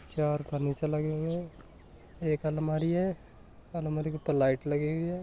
चार फर्नीचर लग रहिया है एक अलमारी है। अलमारी के ऊपर लाइट लगी है।